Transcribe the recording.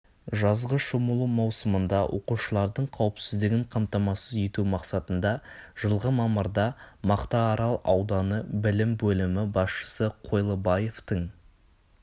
жазғы шомылу маусымында оқушылардың қауіпсіздігін қамтамасыз ету мақсатында жылғы мамырда мақтаарал ауданы білім бөлімі басшысы қойлыбаевтың